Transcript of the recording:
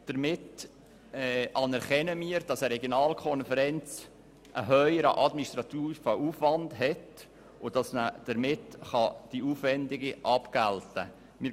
Damit anerkennen wir, dass eine Regionalkonferenz einen höheren administrativen Aufwand hat und dass die Aufwendungen damit abgegolten werden können.